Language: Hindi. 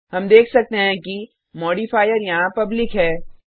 हम देख सकते हैं कि मॉडिफायर यहाँ पब्लिक है